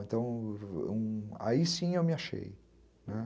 Então, aí sim eu me achei, né?